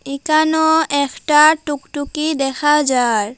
এখনো একটা টুকটুকি দেখা যার।